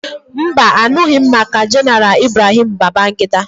Mba, a nụghị m maka Jeneral Ibrahim Babangida.